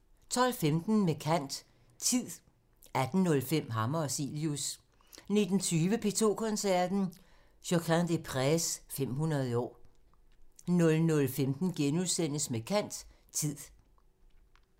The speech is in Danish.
12:15: Med kant – Tid 18:05: Hammer og Cilius 19:20: P2 Koncerten – Josquin des Prez – 500 år 00:15: Med kant – Tid *